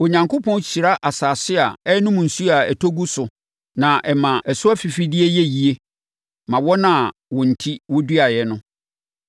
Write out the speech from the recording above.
Onyankopɔn hyira asase a ɛnonom nsuo a ɛtɔ gu so na ɛma ɛso afifideɛ yɛ yie ma wɔn a wɔn enti wɔduaeɛ no.